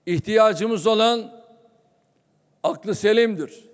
İhtiyacımız olan aklı selimdir.